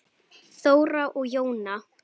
Þóra og Jóna.